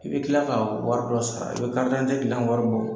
I bɛ tila ka wari dɔ sara. karidante dilan wari bo